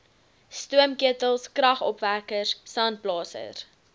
stoomketels kragopwekkers sandblasers